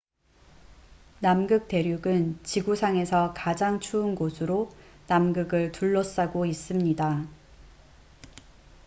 남극 대륙은 지구상에서 가장 추운 곳으로 남극을 둘러싸고 있습니다